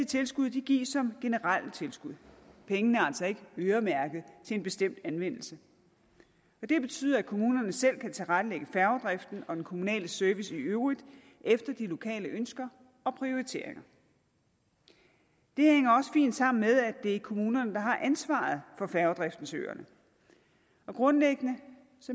tilskud gives som generelle tilskud pengene er altså ikke øremærket til en bestemt anvendelse det betyder at kommunerne selv kan tilrettelægge færgedriften og den kommunale service i øvrigt efter de lokale ønsker og prioriteringer det hænger også fint sammen med at det er kommunerne der har ansvaret for færgedriften til øerne grundlæggende